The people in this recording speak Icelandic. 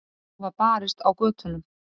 Nú var barist á götunum.